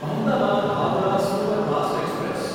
Ahmedabad Howrah superfast express